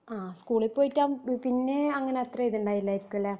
ആ സ്കൂളിൽ പോയിട്ടാവുമ്പം പിന്നെ അങ്ങനെ അത്രേം ഇതൊണ്ടയില്ലായിരിക്കും അല്ലെ